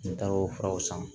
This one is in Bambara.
N taar'o furaw san